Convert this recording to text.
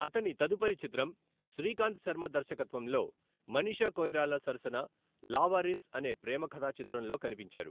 అతని తదుపరి చిత్రం శ్రీకాంత్ శర్మ దర్శకత్వంలో మనీషా కొయిరాలా సరసన లావారిస్ అనే ప్రేమ కథా చిత్రంలో కనిపించారు .